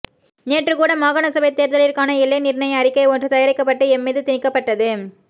நேற்று கூட மாகாணசபை தேர்தலிற்கான எல்லை நிர்ணய அறிக்கை ஒன்று தயாரிக்கப்பட்டு எம்மீது திணிக்கப்பட்டது